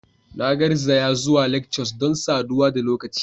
Na garzaya zuwa lectures don saduwa da lokaci.